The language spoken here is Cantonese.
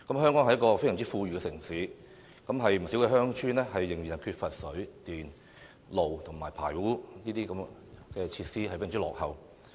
香港是一個非常富裕的城市，然而，不少鄉村仍然缺乏水、電、道路和排污等設施，非常落後。